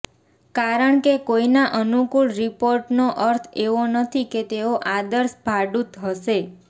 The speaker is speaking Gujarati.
કારણ કે કોઈના અનુકૂળ રિપોર્ટનો અર્થ એવો નથી કે તેઓ આદર્શ ભાડૂત હશે